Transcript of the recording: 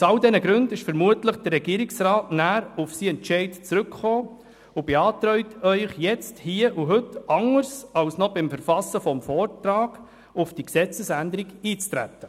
Aus all diesen Gründen ist der Regierungsrat vermutlich auf seinen Entscheid zurückgekommen und beantragt Ihnen jetzt, anders als noch beim Verfassen des Vortrags, auf die Gesetzesänderung einzutreten.